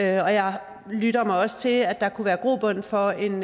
jeg lytter mig også til at der kunne være grobund for en